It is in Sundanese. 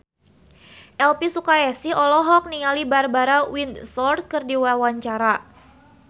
Elvy Sukaesih olohok ningali Barbara Windsor keur diwawancara